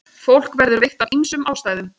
Fólk verður veikt af ýmsum ástæðum.